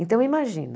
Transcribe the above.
Então imagina,